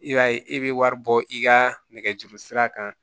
I b'a ye e bɛ wari bɔ i ka nɛgɛjuru sira kan